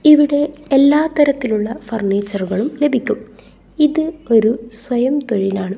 ഇവിടെ എല്ലാത്തരത്തിലുള്ള ഫർണിച്ചറുകളും ലഭിക്കും ഇത് ഒരു സ്വയം തൊഴിലാണ്.